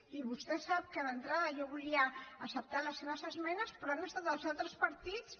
i vostè sap que d’entrada jo volia acceptar les seves esmenes però han estat els altres partits